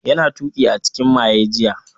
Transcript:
Yana ta tuki a cikin maye jiya